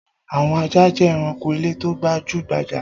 Àwọn ajá jẹ́ ẹranko ilé tó gbajú-gbajà.